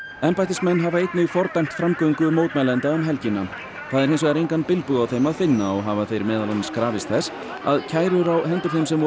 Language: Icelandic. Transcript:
embættismenn hafa einnig fordæmt framgöngu mótmælenda um helgina það er hins vegar engan bilbug á þeim að finna og hafa þeir meðal annars krafist þess að kærur á hendur þeim sem voru